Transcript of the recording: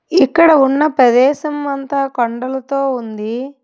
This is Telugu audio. ఇక్కడ ఉన్న ప్రదేశం అంతా కొండలతో ఉంది.